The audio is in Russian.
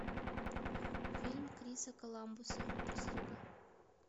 фильм криса коламбуса прислуга